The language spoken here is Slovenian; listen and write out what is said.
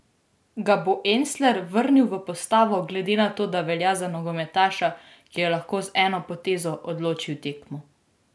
Ga bo Elsner vrnil v postavo, glede na to, da velja za nogometaša, ki lahko z eno potezo odloči tekmo?